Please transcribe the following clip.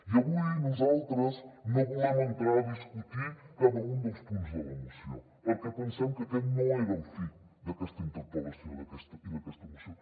i avui nosaltres no volem entrar a discutir cada un dels punts de la moció perquè pensem que aquest no era el fi d’aquesta interpel·lació i d’aquesta moció